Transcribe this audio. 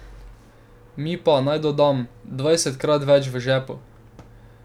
Mi pa, naj dodam, dvajsetkrat več v žepu.